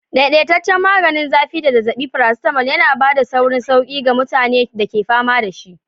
Daidaitaccen maganin zafi da zazzabi, paracetamol yana ba da saurin sauƙi ga mutanen da ke fama da shi.